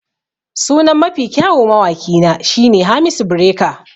Sunan Mafi kyau mawaki na shine Hamisu Breaker.